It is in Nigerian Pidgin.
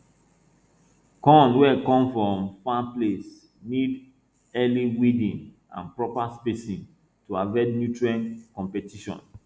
corn wey come from far place need early weeding and proper spacing to avoid nutrient competition